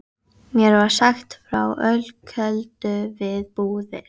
Formaður byggingarnefndar leitar álits sænsks arkitekts.